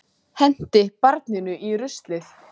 Henti barninu í ruslið